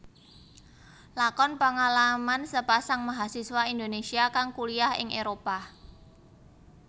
Lakon pangalaman sepasang mahasiswa Indonesia kang kuliyah ing Éropah